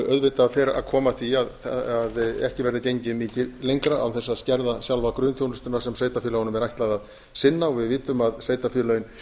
auðvitað fer að koma að því að ekki verður eigi mikið lengra án þess að skerða sjálfa grunnþjónustuna sem sveitarfélögunum er ætlað að sinna við vitum að sveitarfélögin